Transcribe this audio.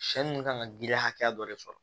Sɛ ninnu kan ka giriya hakɛya dɔ de sɔrɔ